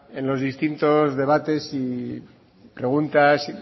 en los distintos debates y preguntas